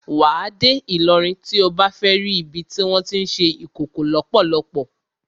Wà á dé Ìlọrin tí o bá fẹ́ ri ibi tí wọ́n tí ń ṣe Ìkòkò lọ́pọ́lọ́pọ́.